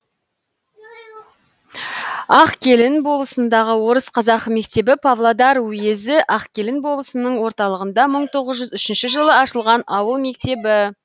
ақкелін болысындағы орыс қазақ мектебі павлодар уезі ақкелін болысының орталығында мың тоғыз жүз үшінші жылы ашылған ауыл мектебі